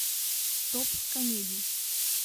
топ комедий